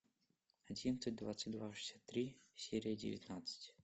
одиннадцать двадцать два шестьдесят три серия девятнадцать